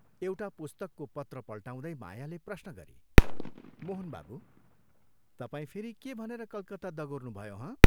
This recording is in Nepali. एउटा पुस्तकको पत्र पल्टाउँदै मायाले प्रश्न गरी, " मोहन बाबू, तपाईं फेरि के भनेर कलकत्ता दगुर्नुभयो हँ?